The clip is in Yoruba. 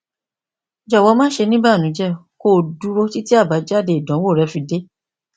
jọwọ ma ṣe ni ibanujẹ ki o duro titi abajade idanwo rẹ fi de